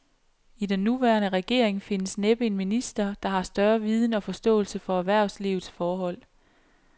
I den nuværende regering findes næppe en minister, der har større viden og forståelse for erhvervslivets forhold.